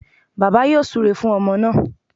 Bàbá yóò súre fún ọmọ náà